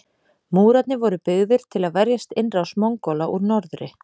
Múrarnir voru byggðir til að verjast innrás Mongóla úr norðri.